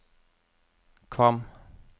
Kvam